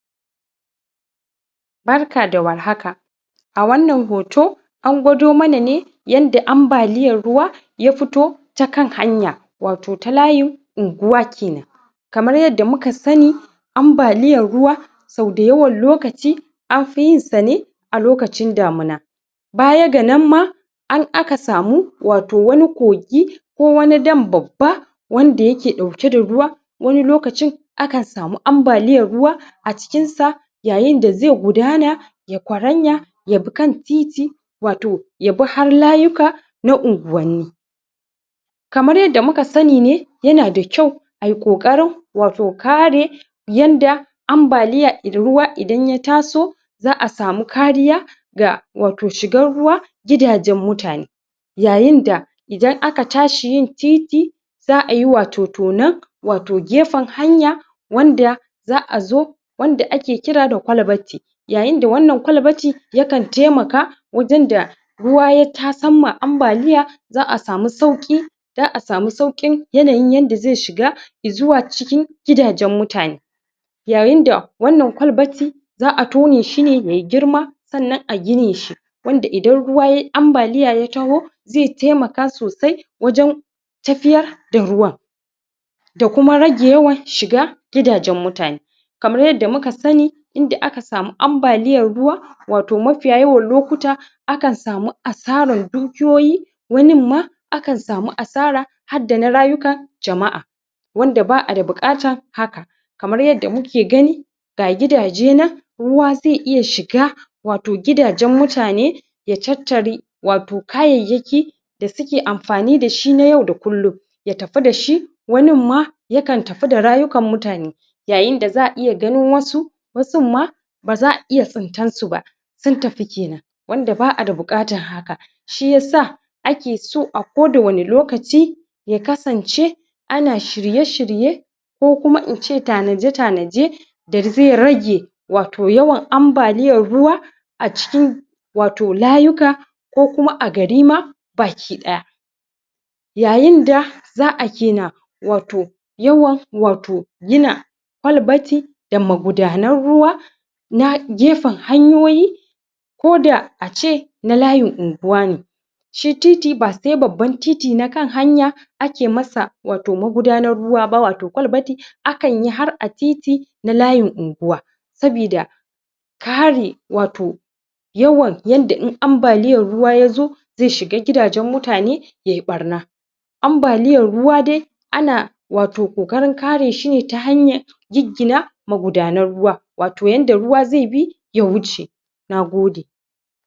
Barka da warhaka! wannan hoto an gwado mana ne yanda ambaliyar ruwa ya futo ta kan hanya wato ta layin unguwa kenan kamar yadda muka sanni ambaliyar ruwa sau da yawan lokaci anfi yin sa ne a lokacin damuna baya ga nan ma an aka samu wato wani kogi ko wani dam babba wanda yake ɗauke da ruwa wani lokacin akan sami ambaliyar ruwa acikin sa yayin da zai gudana ya kwaranya ya bi kan titi wato ya bi har layuka na unguwanni kamar yanda muka sanni ne yana da kyau ai ƙoƙarin wato kare yanda ambaliya ida da ruwa idan ya taso za'a samu kariya ga wato shigan ruwa gidajen mutane yayin da idan aka tashi yin titi za'a yi wato tonan wato gefen hanya wanda za'a zo wanda ake kira da kwalbati yayin da wannan kwalbati yakan taimaka wadin da ruwa ya tasan ma ambaliya za'a samu sauƙi za'a samu sauƙin yanayin yanda zai shiga izuwa cikin gidajen mutane yayin da wannan kwalbati za'a tone shi ne ye girma sannan a gine shi wanda idan ruwa ye ambaliya ya taho zai taimaka sosai wajan tafiyar da ruwan da kuma rage yawan shiga gidajen mutane kamar yadda muka sanni inda aka samu ambaliyar ruwa wato mafiya yawan lokuta akan samu asarar dukiyoyi wanin ma akan samu asara har dana rayuka jama'a wanda ba'a da buƙatan haka kamar yanda muke gani ga gidaje nan ruwa zai iya shiga wato gidajen mutane ya tattari wato kayayyaki da suke amfani dashi na yau da kullum ya tafi dashi wanin ma yakan tafi da rayukan mutane yayin da za'a iya gano wasu wasun ma ba za'a iya tsintan su ba sun tafi kenan wanda ba'a da buƙatan haka shiyasa ake so a ko da wani lokaci ya kasance ana shirye-shirye ko kuma ince tanaje-tanaje da zai rage wato yawan ambaliyar ruwa a cikin wato layuka ko kuma a gari ma baki ɗaya yayin da za'a wato yawan wato gina kwalbati da magudanar ruwa na gefen hanyoyi ko da a ce na layin unguwa ne shi titi ba sai babban titi na kan hanya ake masa wato maudanar ruwa ba wato kwalbati akan yi har a titi na layin unguwa sabida kare wato yawan yanda in ambaliyar ruwa yazo zai shiga gidajen mutane ye ɓarna ambaliyar ruwa dai ana wato ƙoƙarin kare shi ne ta hanyar giggina magudanar ruwa wato yanda ruwa zai bi ya wuce Nagode!